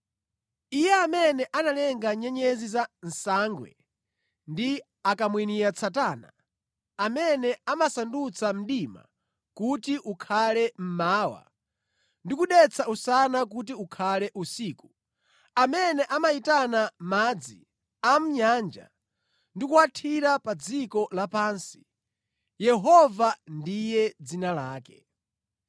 (Iye amene analenga nyenyezi za Nsangwe ndi Akamwiniatsatana, amene amasandutsa mdima kuti ukhale mmawa ndi kudetsa usana kuti ukhale usiku, amene amayitana madzi a mʼnyanja ndi kuwathira pa dziko lapansi, Yehova ndiye dzina lake.